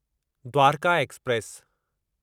Dwarka express